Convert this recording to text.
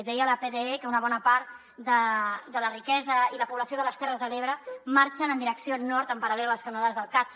deia la pde que una bona part de la riquesa i la població de les ter·res de l’ebre marxen en direcció nord en paral·lel a les canonades del cat